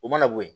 O mana bo ye